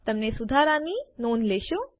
તમે સુધારાની નોંધ લેશો